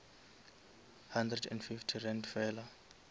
hundred and fifty rand fela